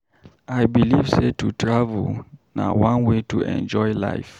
I believe sey to travel na one way to enjoy life.